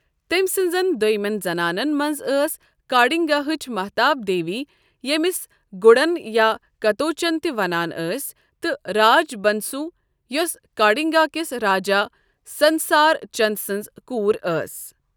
تٔمۍ سٕنٛزن دوٚیمین زنانن منز ٲس کانگڈاہچہِ محتاب دیوی ییٚمِس گڈن یا کتوچن تہ و نان ٲسۍ تہٕ راج بنسو یوسہٕ کانگڈا کِس راجا سنسار چند سٕنز کوٗر ٲس ۔